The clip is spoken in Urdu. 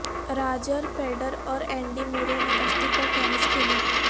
راجر فیڈر اور اینڈی مرے نے کشتی پر ٹینس کھیلی